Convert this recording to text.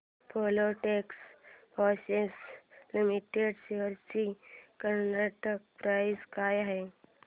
Filatex fashions limited shares ची current price काय आहे